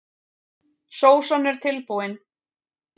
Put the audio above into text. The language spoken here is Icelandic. Sósan er tilbúin.